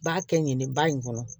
B'a kɛ ɲɛni ba in kɔnɔ